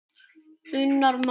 unnar mann.